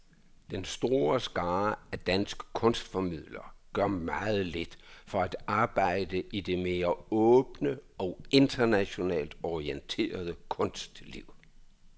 Den store skare af danske kunstformidlere gør meget lidt for at arbejde i det mere åbne og internationalt orienterede kunstliv.